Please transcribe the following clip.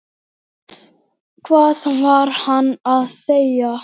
Hvað var hann að segja?